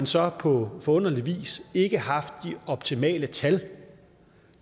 så på forunderlig vis ikke haft de optimale tal